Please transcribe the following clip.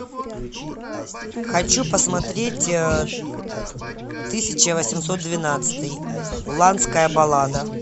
хочу посмотреть тысяча восемьсот двенадцатый уланская баллада